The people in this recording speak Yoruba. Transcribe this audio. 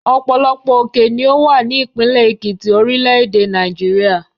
Ọ̀pọ̀lọpọ̀ òkè ni ó wà ní ìpínlẹ̀ Èkìtì, orílẹ̀-èdè Nàìjíríà.